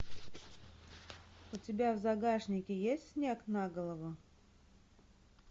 у тебя в загашнике есть снег на голову